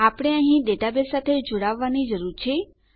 આપણે અહીં ડેટાબેઝ સાથે જોડાવવાની જરૂર છે